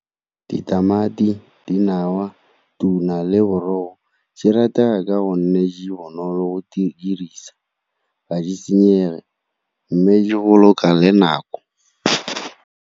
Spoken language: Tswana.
Ditamati, dinawa, tuna le di ratega ka go nne di bonolo go di dirisa, ga di senyege mme di boloka le nako.